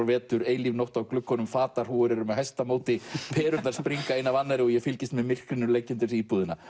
vetur eilíf nótt á gluggunum fatahrúgur eru með hæsta móti perurnar springa ein af annarri og ég fylgist með myrkrinu leggja undir sig íbúðina